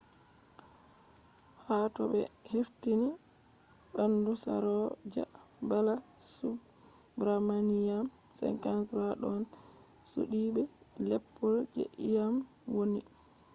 ha to ɓe hefti ɓandu saroja balasubramanian 53 ɗon suddi be leppol je iyam wonni